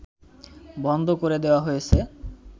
বন্ধ করে দেয়া হয়েছে